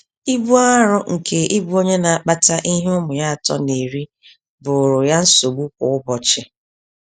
Ibu arụ nke ịbụ onye na-akpata ihe ụmụ ya atọ na-eri, bụụrụ ya nsogbu kwa ụbọchị.